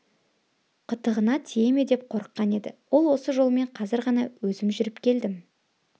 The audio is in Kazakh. қытығына тие ме деп қорыққан еді ол осы жолмен қазір ғана өзім жүріп келдім